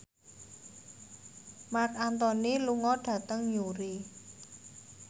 Marc Anthony lunga dhateng Newry